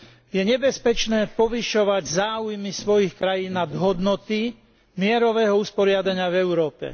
Je nebezpečné povyšovať záujmy svojich krajín nad hodnoty mierového usporiadania v Európe.